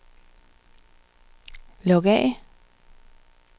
log af